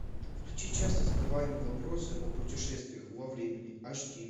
включи часто задаваемые вопросы о путешествиях во времени аш ди